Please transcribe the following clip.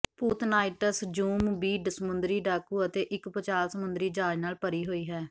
ਭੂਤ knights zombie ਸਮੁੰਦਰੀ ਡਾਕੂ ਅਤੇ ਇੱਕ ਭੂਚਾਲ ਸਮੁੰਦਰੀ ਜਹਾਜ਼ ਨਾਲ ਭਰੀ ਹੋਈ ਹੈ